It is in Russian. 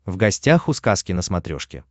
в гостях у сказки на смотрешке